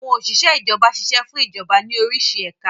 Àwọn Òsìsẹ́ Ìjọba ṣiṣẹ́ fún Ìjọba ní orísi ẹ̀ka